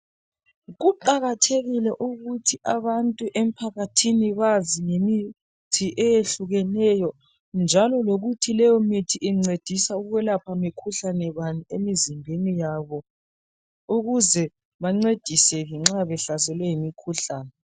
Kuqakathekile ukuthi abantu emphakathini bazi ngemithi eyehlukeneyo njalo lokuthi leyo mithi incedisa ukwelapha mikhuhlane bani emizimbeni yabo ukuze bancediseke nxa behlaselwe yimikhuhlane.